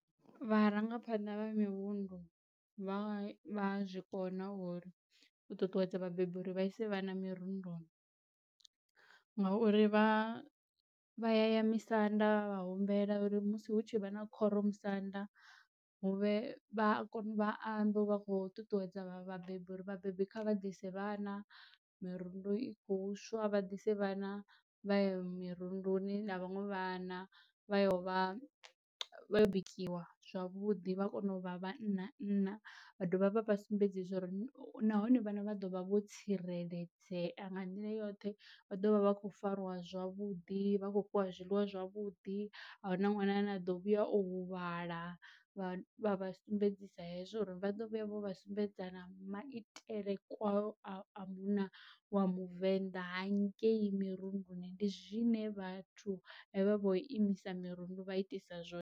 Vharangaphaṋda vha mirundu vha a zwikona uri u ṱuṱuwedza vhabebi uri vha ise vha na mirunduni, ngauri vha vha aya misanda vha humbela uri musi hu tshi vha na khoro musanda huvhe vha a kona u vha ambe vha kho ṱuṱuwedza vhabebi uri vhabebi kha vha ise vhana mirundu i khou swa vha ḓise vhana vha ye mirunduni na vhaṅwe vhana vha yo vha vha yo bikiwa zwavhuḓi vha kone u vha vhannanna. Vha dovha vha vha sumbedza uri nahone vhana vha ḓovha vho tsireledzea nga nḓila yoṱhe, vha ḓovha vha kho fariwa zwavhuḓi vha khou fhiwa zwiliwa zwavhuḓi, a hu na ṅwana ane a ḓo vhuya o huvhala vha vha sumbedzisa hezwo uri vha ḓo vhuya vho vha sumbedzisana maitele kwayo a munna wa muvenḓa ha ngei mirunduni ndi zwine vhathu hevha vho imisa mirundu vha itisa zwone.